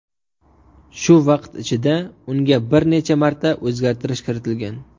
Shu vaqt ichida unga bir necha marta o‘zgartirish kiritilgan.